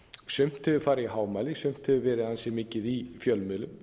sumt hefur farið í hámæli sumt hefur verið ansi mikið í fjölmiðlum